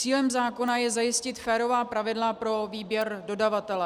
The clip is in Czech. Cílem zákona je zajistit férová pravidla pro výběr dodavatele.